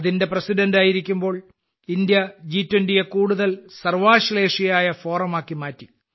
അതിന്റെ പ്രസിഡന്റായിരിക്കുമ്പോൾ ഇന്ത്യ ജി20യെ കൂടുതൽ സർവ്വാശ്ലേഷിയായ ഫോറമാക്കി മാറ്റി